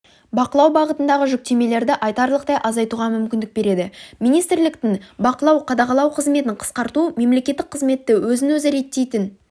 бақылау бағытындағы жүктемелерді айтарлықтай азайтуға мүмкіндік береді министрліктің бақылау-қадағалау қызметін қысқарту мемлекеттік қызметті өзін-өзі реттейтін